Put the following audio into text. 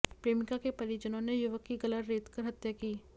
प्रेमिका के परिजनों ने युवक की गला रेंतकर हत्या की